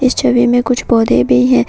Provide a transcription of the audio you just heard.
इस छवि में कुछ पौधे भी हैं।